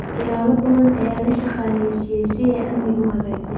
Ilaalo badan ayaa la shaqaaleysiiyay si ay amniga u hagaajiyaan.